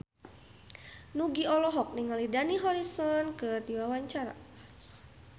Nugie olohok ningali Dani Harrison keur diwawancara